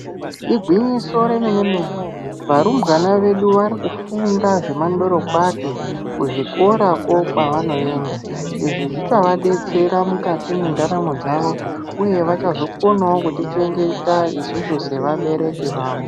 Igwinyiso remene mene varumbwana vedu vaeikufunda zvemandorokwati kuzvikorako kwavanoenda , izvi zvichavadetsera mukati mwendaramo dzavo uye vachazokonawo kutichengeta isusu sevabereki vavo.